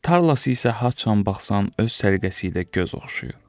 Tarlası isə haçan baxsan öz səliqəsi ilə göz oxşayır.